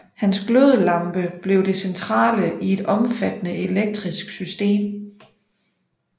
Hans glødelampe blev det centrale i et omfattende elektrisk system